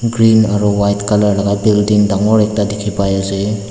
green aru white colour laga building dangor ekta dekhi pai ase.